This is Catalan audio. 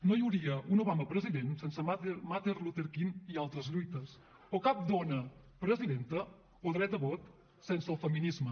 no hi hauria un obama president sense martin luther king i altres lluites o cap dona presidenta o dret a vot sense el feminisme